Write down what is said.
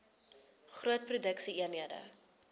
groot produksie eenhede